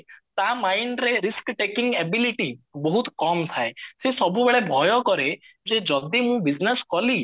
ତା mindରେ risk taking ability ବହୁତ କମ ଥାଏ ସେ ସବୁବେଳେ ଭୟ କରେ ଯେ ଯଦି ମୁଁ business କଲି